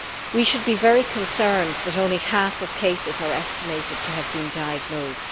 We should be very concerned that only half of cases are estimated to have been diagnosed.